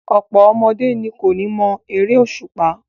Ọ̀pọ̀ ọmọdé ni kò mọ eré òṣùpá.